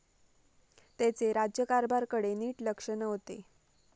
त्याचे राज्यकारभारकडे नीट लक्ष नव्हते.